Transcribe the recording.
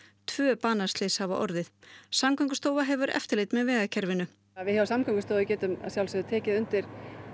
tvö banaslys hafa orðið Samgöngustofa hefur eftirlit með vegakerfinu við hjá Samgöngustofu getum að sjálfsögðu tekið undir